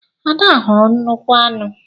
Ada hụrụ nnukwu aṅu.